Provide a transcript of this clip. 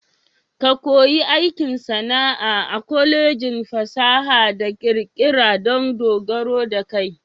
Ka ko yi aikin sana'a a Kwalejin fasaha da ƙirƙira dan dogaro da kai.